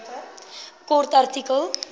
kort artikel